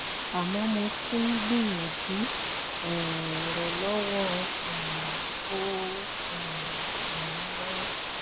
àmọ́ mo tún gbìyànjú um rẹ̀ lọ́wọ́ um kò um sì ràn mí lọ́wọ́